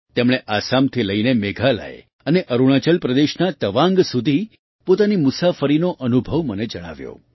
તેમણે આસામથી લઈને મેઘાલય અને અરુણાચલ પ્રદેશના તવાંગ સુધી પોતાની મુસાફરીનો અનુભવ મને જણાવ્યો